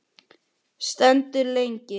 Stendur lengi.